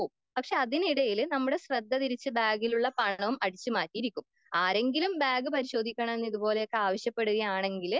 പക്ഷെ അതിനിടയില് നമ്മുടെ ശ്രദ്ധതിരിച്ച് ബാഗിലുള്ള പണം അടിച്ച്മാറ്റിയിരിക്കും ആരെങ്കിലും ബാഗ് പരിശോധിക്കണം ഇത് പോലെ ആവശ്യപെടുകയാണെങ്കിൽ